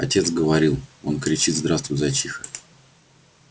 отец говорил он кричит здравствуй зайчиха